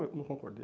não concordei.